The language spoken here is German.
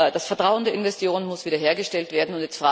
Das Vertrauen der Investoren muss wiederhergestellt werden.